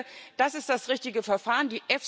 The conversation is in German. Ich denke, das ist das richtige Verfahren.